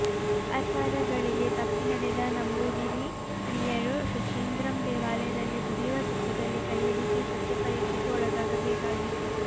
ಆಚಾರಗಳಿಗೆ ತಪ್ಪಿ ನಡೆದ ನಂಬೂದಿರಿ ಸ್ತ್ರೀಯರು ಶುಚೀಂದ್ರಂ ದೇವಾಲಯದಲ್ಲಿ ಕುದಿಯುವ ತುಪ್ಪದಲ್ಲಿ ಕೈಯಿರಿಸಿ ಸತ್ಯ ಪರೀಕ್ಷೆಗೆ ಒಳಗಾಗಬೇಕಾಗಿತ್ತು